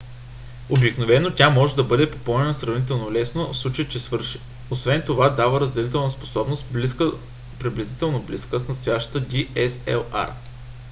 обикновено тя може да бъде попълнена сравнително лесно в случай че свърши. освен това дава разделителна способност приблизително близка с настоящата dslr